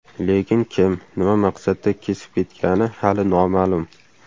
Lekin kim, nima maqsadda kesib ketgani hali noma’lum.